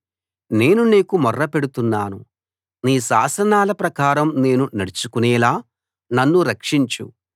నేను నీకు మొర్ర పెడుతున్నాను నీ శాసనాల ప్రకారం నేను నడుచుకునేలా నన్ను రక్షించు